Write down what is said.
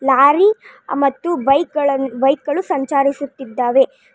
Lorry ಮತ್ತು bike ಗಳನ್ನು bike ಗಳು ಸಂಚಾರಿಸುತ್ತಿದ್ದಾವೆ.